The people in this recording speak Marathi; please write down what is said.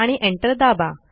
आणि एंटर दाबा